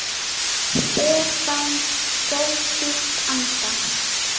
Stefán dró djúpt andann.